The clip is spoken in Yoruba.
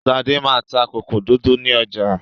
Ṣadé máa ń ta kòkò dúdú ní ọ̀jà.